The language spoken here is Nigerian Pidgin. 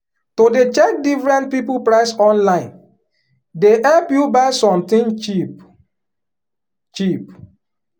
to dey check different people price online dey help you buy sometin cheap. cheap.